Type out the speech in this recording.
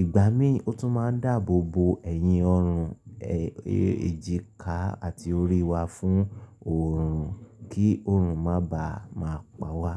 Ìgbà mí ò tún máa ń dáàbò bo ẹyin, ọrùn, ẹ, èjìká àti orí wa fún òòrùn kí òòrùn má bàa máa pa wá.